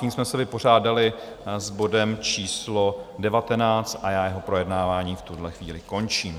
Tím jsme se vypořádali s bodem číslo 19 a já jeho projednávání v tuto chvíli končím.